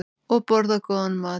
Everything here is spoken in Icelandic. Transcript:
Og borða góðan mat.